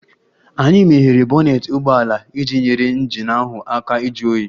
Anyị meghere bonnet ụgbọ ala iji nyere injin ahụ aka ịjụ oyi